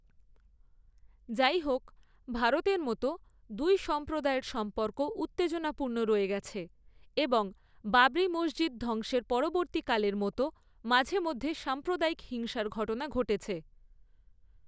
যাইহোক, ভারতের মতো, দুই সম্প্রদায়ের সম্পর্ক উত্তেজনাপূর্ণ রয়ে গেছে এবং বাবরি মসজিদ ধ্বংসের পরবর্তীকালের মতো মাঝেমধ্যে সাম্প্রদায়িক হিংসার ঘটনা ঘটেছে।